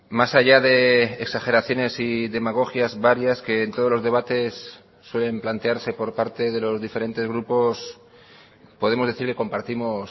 más allá de exageraciones y demagogias varias que en todos los debates suelen plantearse por parte de los diferentes grupos podemos decir que compartimos